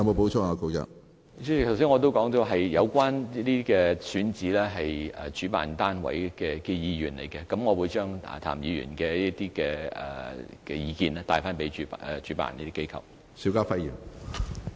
主席，我剛才已經說了，有關選址是主辦單位的意願，但我會將譚議員的意見向主辦機構轉達。